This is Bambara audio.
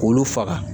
K'olu faga